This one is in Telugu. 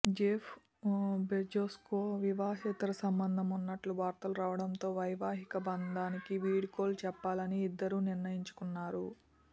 జెఫ్ బెజోస్కు వివాహేతర సంబంధం ఉన్నట్లు వార్తలు రావడంతో వైవాహిక బంధానికి వీడ్కోలు చెప్పాలని ఇద్దరూ నిర్ణయించుకున్నారు